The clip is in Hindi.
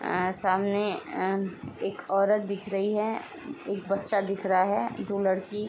अ सामने अ एक औरत दिख रही है एक बच्चा दिख रहा है दो लड़की --